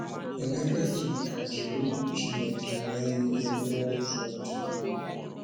Emeka ji nkà jiri Okwu Chineke mee ihe n’ụzọ dị irè.